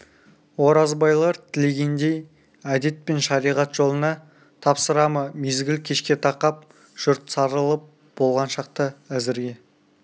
оразбайлар тілегендей әдет пен шариғат жолына тапсыра ма мезгіл кешке тақап жұрт сарылып болған шақта әзірге